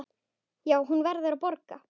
Já, hún verður að borga.